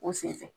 O senfɛ